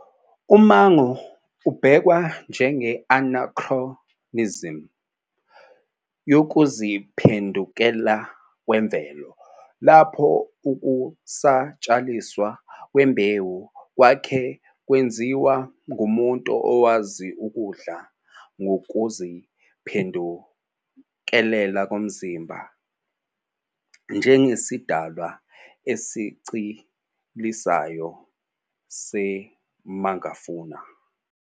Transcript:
Umango ubhekwa njenge-anachronism yokuziphendukela kwemvelo, lapho ukusatshalaliswa kwembewu kwake kwenziwa ngumuntu owazi ukudla ngokuziphendukela komzimba, njengesidalwa esincelisayo se-megafauna.